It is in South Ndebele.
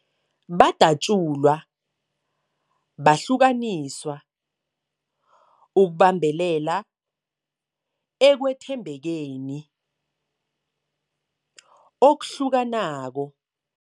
Badatjulwa, bahlukaniswa ukubambelela ekwethembekeni okuhlukanako.